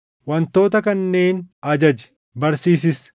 Wantoota kanneen ajaji; barsiisis.